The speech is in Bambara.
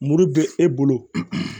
Muru bɛ e bolo